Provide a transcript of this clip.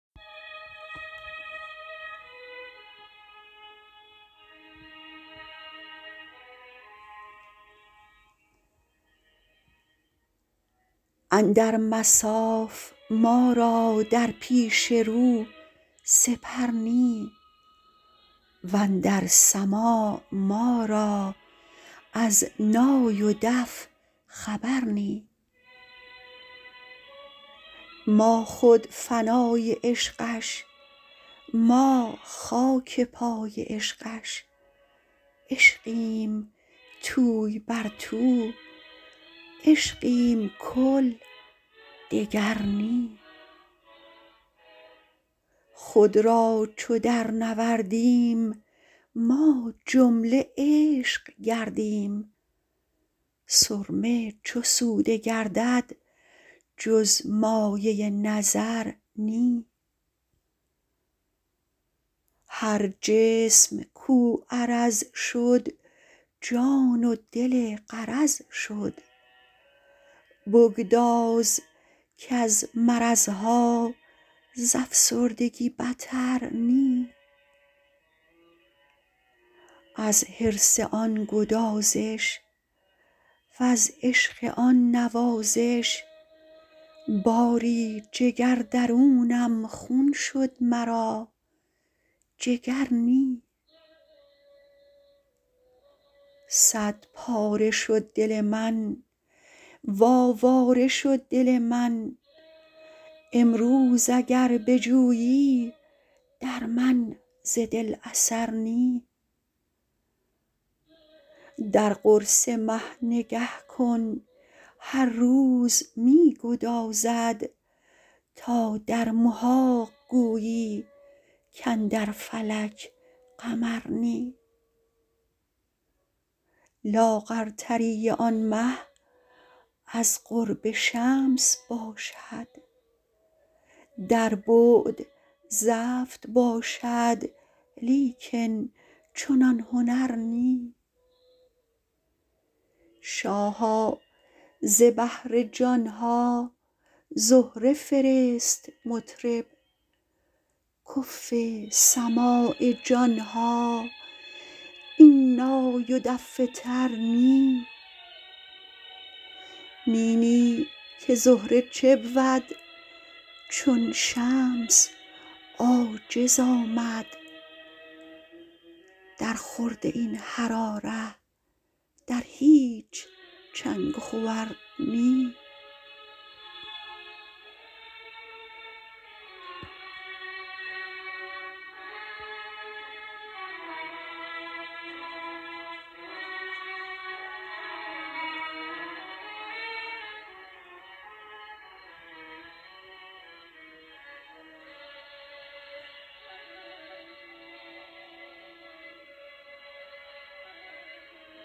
اندر مصاف ما را در پیش رو سپر نی و اندر سماع ما را از نای و دف خبر نی ما خود فنای عشقش ما خاک پای عشقش عشقیم توی بر تو عشقیم کل دگر نی خود را چو درنوردیم ما جمله عشق گردیم سرمه چو سوده گردد جز مایه نظر نی هر جسم کو عرض شد جان و دل غرض شد بگداز کز مرض ها ز افسردگی بتر نی از حرص آن گدازش وز عشق آن نوازش باری جگر درونم خون شد مرا جگر نی صدپاره شد دل من و آواره شد دل من امروز اگر بجویی در من ز دل اثر نی در قرص مه نگه کن هر روز می گدازد تا در محاق گویی کاندر فلک قمر نی لاغرتری آن مه از قرب شمس باشد در بعد زفت باشد لیکن چنان هنر نی شاها ز بهر جان ها زهره فرست مطرب کفو سماع جان ها این نای و دف تر نی نی نی که زهره چه بود چون شمس عاجز آمد درخورد این حراره در هیچ چنگ و خور نی